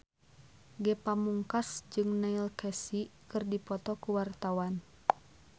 Ge Pamungkas jeung Neil Casey keur dipoto ku wartawan